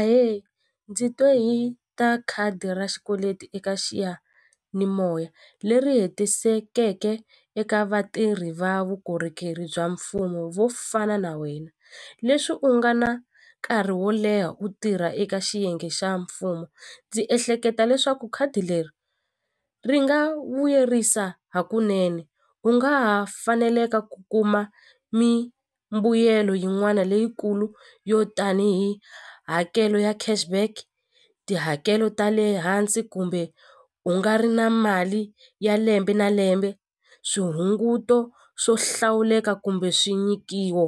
Ahe ndzi twe hi ta khadi ra xikweleti eka xiyanimoya leri hetisekeke eka vatirhi va vukorhokeri bya mfumo vo fana na wena leswi u nga na nkarhi wo leha u tirha eka xiyenge xa mfumo ndzi ehleketa leswaku khadi leri ri nga vuyerisa hakunene u nga ha faneleka ku kuma mimbuyelo yin'wana leyikulu yo tanihi hakelo ya cash back tihakelo ta le hansi kumbe u nga ri na mali ya lembe na lembe swihunguto swo hlawuleka kumbe swi nyikiwo